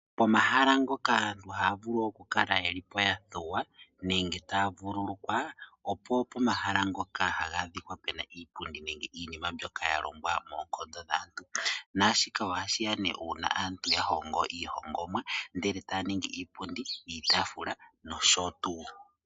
Pomahala ngoka aantu haavulu okukalapo yelipo yathuwa nenge taa vululukwa, opo pomahala ngoka haga adhika puna iipundi nenge iinima mbyoka yalongwa moonkondo dhaantu naashika ohashiya ne uuna aantu yahongo iihongomwa ndele taya ningi mo iipundi, iitafula nosho tuu.